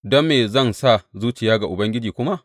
Don me zan sa zuciya ga Ubangiji kuma?